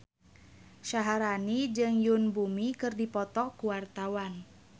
Syaharani jeung Yoon Bomi keur dipoto ku wartawan